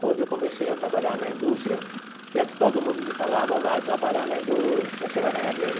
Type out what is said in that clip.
Quando eu comecei a trabalhar na indústria, que era o que todo mundo me falava, vai trabalhar na indústria, você vai ganhar dinheiro.